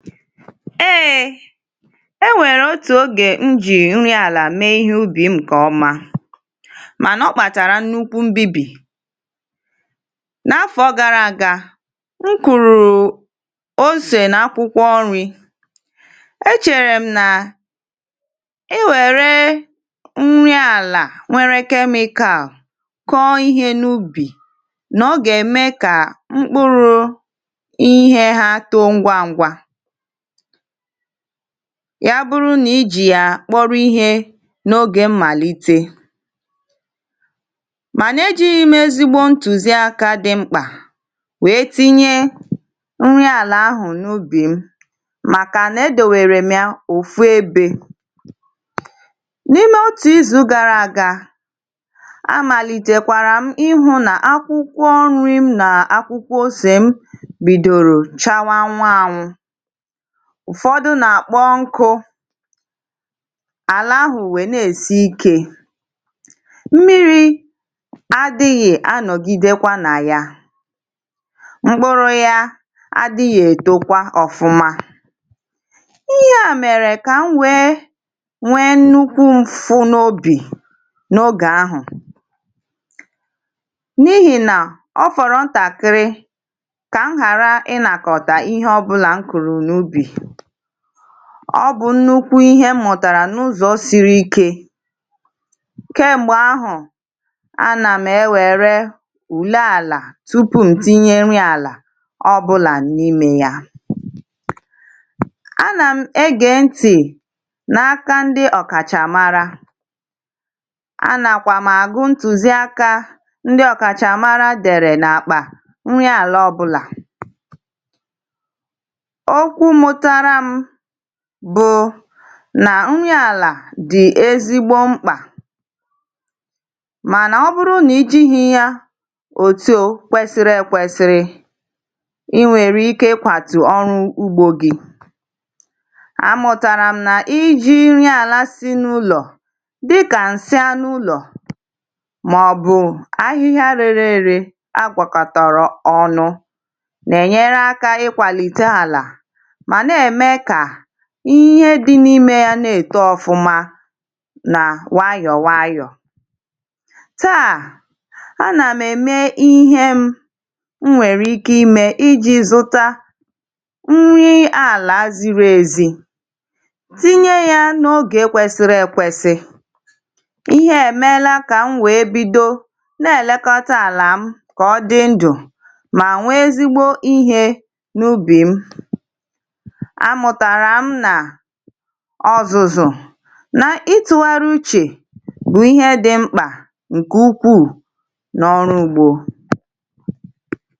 Ee e nwere otu oge m ji nri ala mee ihe ubi m mana ọ kpatara nnukwu mbibi. N'afọ gara aga, m kụrụ ose na akwụkwọ nri. E chere m na e were nri ala nwere chemical kụọ ihe n'ubi na ọ ga-eme ka mkpụrụ ihe ha too ngwá ngwa ya bụrụ na i ji ya kpọrọ ihe n'oge mmalite. Mana e jighị m ezigbo ntuziaka dị mkpa wee tinye nri ala ahụ n'ubi m makana e debere m ofu ebe. N'ime otu izu gara aga, a malitekwara m ị́hụ na akwụkwọ nri m na akwụkwọ ose m bidoro chawa anwụ anwụ. Ụfọdụ na-akpọ nkụ, ala ahụ wee na-esi ike. Mmiri adịghị anọgidekwa na ya. Mkpụrụ ya adịghị etokwa ọfụma. Ihe a mere ka m wee nwee nnukwu mfụ́ n'obi n'oge ahụ n'ihina ọ fọrọ ntakịrị ka m ghara inakọta ihe ọbụla m kụrụ n'ubi. Ọ bụ nnukwu ihe m mụtara n'ụzọ siri ike. Kemgbe ahụ, a na m ewere ule ala tupu m tinye nri ala ọbụla n'ime ya. A na m ege ntị n'aka ndị ọkachamara. A nakwa m agụ ntụziaka ndị ọkachamara dere n'akpa na nri ala ọbụla. Okwu m mụtara bụ na nri ala dị ezigbo mkpa mana ọ bụrụ na i jighị ya ot o kwesịrị ekwesị, i nwere ike ịkwatụ ọrụ ugbo gị. A mụtara m na i ji nri ala si n'ụlọ dịka nsị anụ ụlọ maọbụ ahịhịa rere ure ere a gwakọtara ọnụ na-enyere aka ịkwalite ala ma na-eme ka ihe dị n'ime ya na-eto ọfụma nwayọọ nwayọọ. Taa a na m eme ihe m nwere ike ime iji zụta nri ala ziri ezi, tinye ya n'oge kwesịrị ekwesị. Ihe a e meela ka m wee bido na-elekọta ala m ka ọ dị ndụ ma nwee ezigbo ihe n'ubi m. A mụtara m na ọzụzụ na ịtụgharị uche bụ ihe dị mkpa nke ukwuu n'ọrụ ugbo.